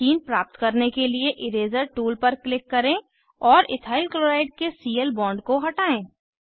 ethene प्राप्त करने के लिए इरेज़र टूल पर क्लिक करें और इथाइल क्लोराइड के सीएल बॉन्ड को हटायें